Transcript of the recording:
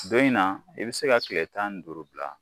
Dɔ in na i bɛ se ka tile tan ni duuru bila